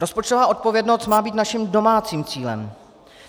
Rozpočtová odpovědnost má být naším domácím cílem.